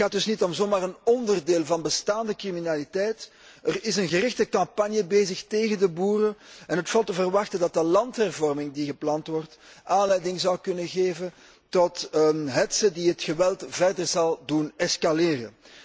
Het gaat dus niet om zomaar een onderdeel van bestaande criminaliteit, maar er is een gerichte campagne bezig tegen de boeren en het valt te verwachten dat de landhervorming die gepland wordt aanleiding zou kunnen geven tot een hetze die het geweld verder zal doen escaleren.